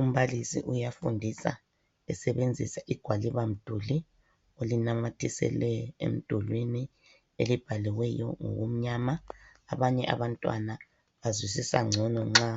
Umbalisi uyafundisa esebenzisa igwalibamduli elinamathisele emdulwini elibhaliweyo ngokumnyama. Abanye abantwana bazwisisa ngcono nxa